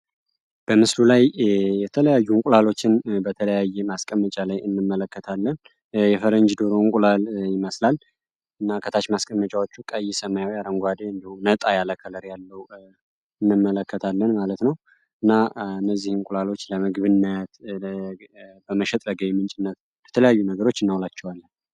በምስሉ ላይ የተለያዩ እንቁላሎችን በተለያየ ማስቀመጫ ላይ እንመለከታለን የፈረንጅ ዶሮ እንቁላል ይመስላል እና ከታች ማስቀመጫው ቀይ ሰማያዊ አረንጓዴ እንዲሁም ያለ ከለር እንመለከታለን ማለት ነው እና እነዚህን እንቁላሎች ለምግብነት ለመሸጥ የተለያዩ አገልግሎቶች እናቸዋለን።